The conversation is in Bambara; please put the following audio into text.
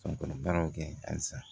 Ka baaraw kɛ halisa